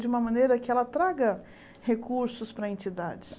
De uma maneira que ela traga recursos para a entidade.